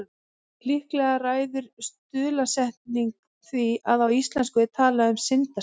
Líklega ræður stuðlasetning því að á íslensku er talað um syndasel.